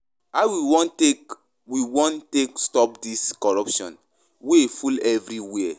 How we wan take we wan take stop dis corruption wey full everywhere?